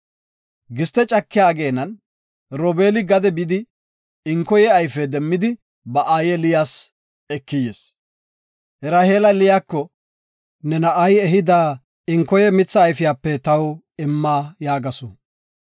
Giste cakiya ageenan Robeeli gade bidi inkoya mitha ayfe demmidi ba aaye Liyas ekidi yis. Raheela Liyako, “Ne na7ay ehida enkoya mitha ayfiyape taw imma” yaagasu.